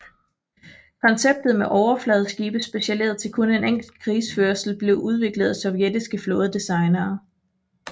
Konceptet med overfladeskibe specialiseret til kun en enkelt krigsførelse blev udviklet af sovjetiske flådedesignere